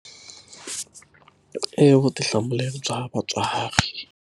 I vutihlamuleri bya vatswari.